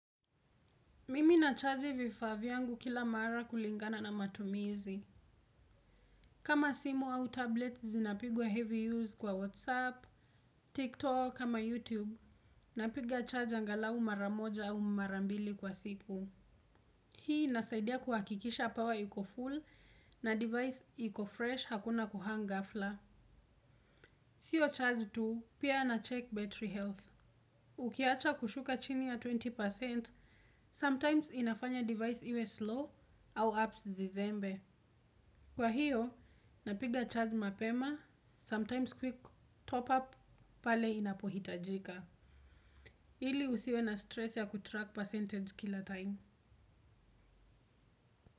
Mimi na chaji vifa vyangu kila mara kulingana na matumizi. Kama simu au tablet zinapigwa heavy use kwa WhatsApp, TikTok, ama YouTube. Napiga charge angalau mara moja au mara mbili kwa siku. Hii inasaidia kuhakikisha power iko full na device iko fresh hakuna kuhang ghafla. Sio charge tu, pia na check battery health. Ukiacha kushuka chini ya asilimia ishirini, sometimes inafanya device iwe slow au apps zizembe. Kwa hiyo, napiga charge mapema, sometimes quick top up pale inapohitajika. Ili usiwe na stress ya kutrack percentage kila time.